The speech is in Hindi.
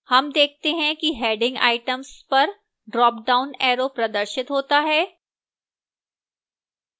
हम देखते हैं कि heading items पर ड्रापडाउन arrow प्रदर्शित होता है